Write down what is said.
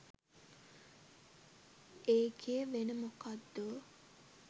ඒකෙ වෙන මොකක්දෝ